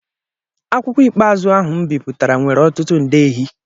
Akwụkwọ ikpeazụ ahụ m bipụtara nwere ọtụtụ ndehịe